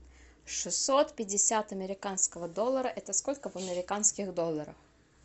шестьсот пятьдесят американского доллара это сколько в американских долларах